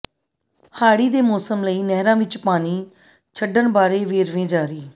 ਹਾੜ੍ਹੀ ਦੇ ਮੌਸਮ ਲਈ ਨਹਿਰਾਂ ਵਿੱਚ ਪਾਣੀ ਛੱਡਣ ਬਾਰੇ ਵੇਰਵੇ ਜਾਰੀ